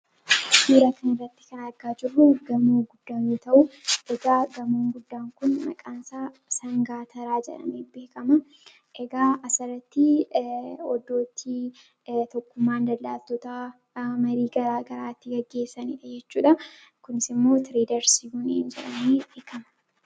Suuraa asirratti argaa jirru, gamoo guddaa yoo ta'u, gamoon guddaan Kun maqaan isaa sangaa taraa jedhamee beekama. Asirratti iddoo tokkummaan daldaaltota itti marii garaagaraa gaggeessanidha jechuudha. Kunis immoo tireedarsii jedhamuun beekama.